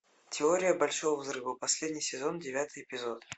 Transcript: теория большого взрыва последний сезон девятый эпизод